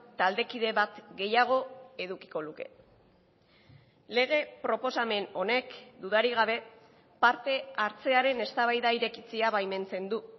taldekide bat gehiago edukiko luke lege proposamen honek dudarik gabe parte hartzearen eztabaida irekitzea baimentzen du